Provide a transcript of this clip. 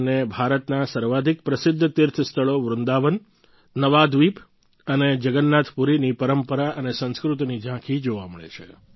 તેમને ભારતના સર્વાધિક પ્રસિદ્ધ તીર્થસ્થળો વૃંદાવન નવાદ્વિપ અને જગન્નાથપુરીની પરંપરા અને સંસ્કૃતિની ઝાંખી જોવા મળે છે